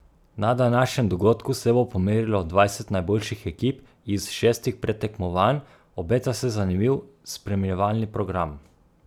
Na današnjem dogodku se bo pomerilo dvajset najboljših ekip iz šestih predtekmovanj, obeta se zanimiv spremljevalni program.